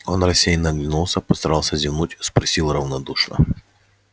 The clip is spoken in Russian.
он рассеянно оглянулся постарался зевнуть спросил равнодушно